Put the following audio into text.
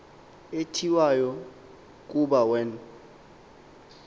etyiwayo kuba wen